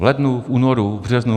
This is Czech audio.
V lednu, v únoru, v březnu...